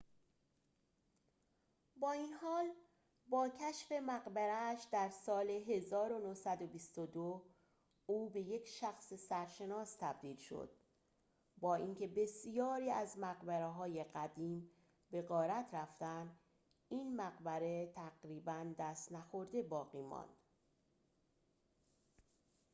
با این حال با کشف مقبره‌اش در سال ۱۹۲۲ او به یک شخص سرشناس تبدیل شد با اینکه بسیاری از مقبره‌های قدیم به غارت رفتند این مقبره تقریباً دست‌نخورده باقی ماند